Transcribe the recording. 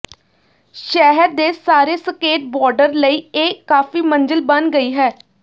ਸ਼ਹਿਰ ਦੇ ਸਾਰੇ ਸਕੇਟਬੋਰਡਰ ਲਈ ਇਹ ਕਾਫ਼ੀ ਮੰਜ਼ਿਲ ਬਣ ਗਈ ਹੈ